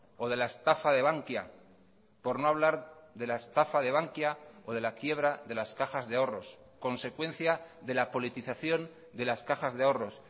o de la estafa de bankia por no hablar de la estafa de bankia o de la quiebra de las cajas de ahorros consecuencia de la politización de las cajas de ahorros